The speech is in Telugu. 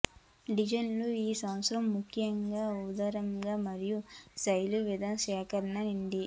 డిజైనర్లు ఈ సంవత్సరం ముఖ్యంగా ఉదారంగా మరియు శైలులు వివిధ సేకరణ నిండి